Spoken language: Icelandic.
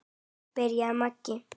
byrjaði Maggi.